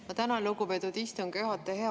Ma tänan, lugupeetud istungi juhataja!